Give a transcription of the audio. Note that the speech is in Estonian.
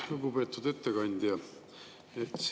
Lugupeetud ettekandja!